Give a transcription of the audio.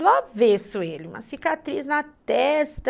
Do avesso ele, uma cicatriz na testa.